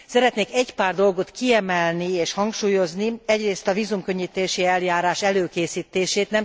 Szeretnék egy pár dolgot kiemelni és hangsúlyozni, egyrészt a vízumkönnyítési eljárás előkészítését.